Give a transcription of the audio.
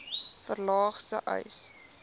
verlaag sê uys